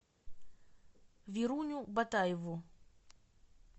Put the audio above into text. веруню батаеву